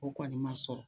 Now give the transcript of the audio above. O kɔni ma sɔrɔ